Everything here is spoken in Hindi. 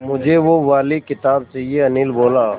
मुझे वो वाली किताब चाहिए अनिल बोला